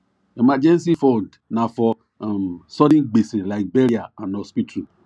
emergency fund na for um sudden gbese like burial and hospital